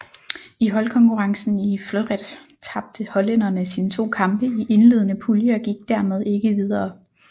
I holdkonkurrencen i fleuret tabte hollænderne sine to kampe i indledende pulje og gik dermed ikke videre